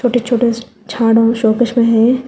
छोटे छोटे झाड़ और शोकेस भी है।